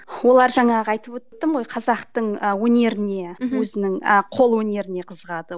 олар жаңағы айтып өттім ғой қазақтың ы өнеріне мхм өзінің ы қолөнеріне қызығады